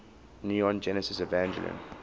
neon genesis evangelion